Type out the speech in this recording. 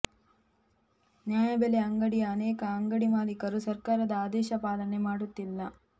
ನ್ಯಾಯಬೆಲೆ ಅಂಗಡಿಯ ಅನೇಕ ಅಂಗಡಿ ಮಾಲೀಕರು ಸರ್ಕಾರದ ಆದೇಶ ಪಾಲನೆ ಮಾಡುತ್ತಿಲ್ಲ